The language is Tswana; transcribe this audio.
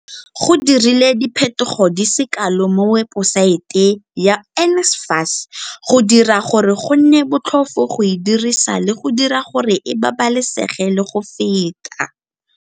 Go dirilwe diphetogo di se kalo mo webosaete ya NSFAS go dira gore go nne botlhofo go e dirisa le go dira gore e babalesege le go feta.